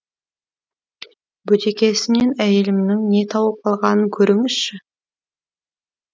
бөтекесінен әйелімнің не тауып алғанын көріңізші